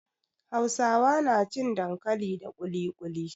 Hausawa na cin dankali da kulikuli